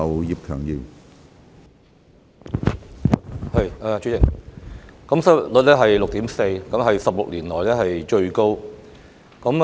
主席，現時香港失業率達 6.4%， 是16年來最高。